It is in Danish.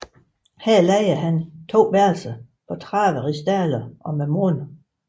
Her lejede han to værelser for 30 rigsdaler om måneden